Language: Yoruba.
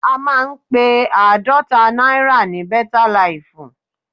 A máa ń pe àádọ́ta náírà ní bẹ́tá laìfù.